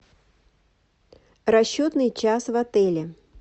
расчетный час в отеле